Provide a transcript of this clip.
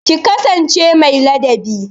Ki kasance mai ladabi